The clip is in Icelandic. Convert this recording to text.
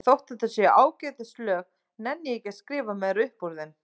En þótt þetta séu ágætis lög nenni ég ekki að skrifa meira upp úr þeim.